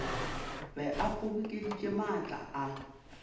be a kgobokeditše maatla a